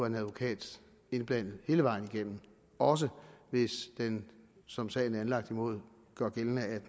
en advokat indblandet hele vejen igennem også hvis den som sagen er anlagt mod gør gældende at